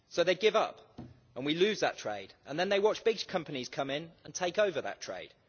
So they give up and we lose that trade, and then they watch big companies come in and take over that trade.